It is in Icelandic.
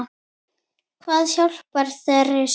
Hvað hjálpar í þeirri stöðu?